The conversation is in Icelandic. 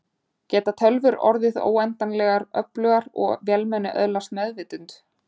Geta tölvur orðið óendanlegar öflugar og vélmenni öðlast meðvitund?